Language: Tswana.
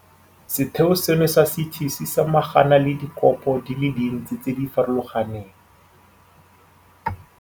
Setheo seno sa CT se samagana le dikopo di le dintsi tse di farologaneng.